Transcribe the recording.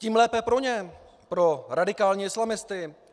Tím lépe pro ně, pro radikální islamisty.